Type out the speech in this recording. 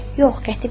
Yox, Qətibə!